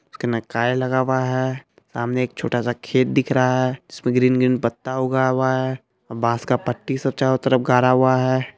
इसमे काई लगा हुआ है सामने छोटा स खेत दिख रहा है इसमे ग्रीन ग्रीन पत्ता उगा हुआ है बांस का पट्टी सब चारों तरफ गाड़ा हुआ है।